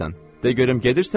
De görüm gedirsən ya yox?